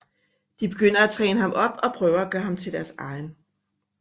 De begynder at træne ham op og prøver at gøre ham til deres egen